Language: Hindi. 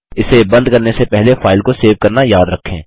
इसे बंद करने से पहले फाइल को सेव करना याद रखें